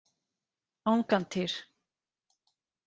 Angantýr